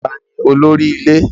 Taa ni olórí i ilé?